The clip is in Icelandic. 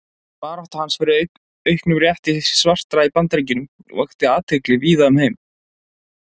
Barátta hans fyrir auknum rétti svartra í Bandaríkjunum vakti mikla athygli víða um heim.